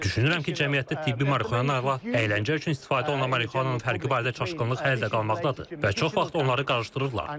Düşünürəm ki, cəmiyyətdə tibbi marixuana ilə əyləncə üçün istifadə olunan marixuananın fərqi barədə çaşqınlıq hələ də qalmaqdadır və çox vaxt onları qarışdırırlar.